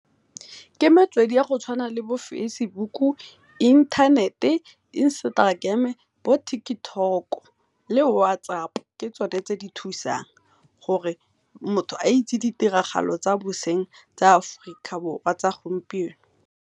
Ke metswedi ya go tshwana le bo Facebook-u, inthanete, Instagram-e bo TikTok-o le WhatsApp-o ke tsone tse di thusang gore motho a itse ditiragalo tsa boseng tsa Aforika Borwa tsa gompieno.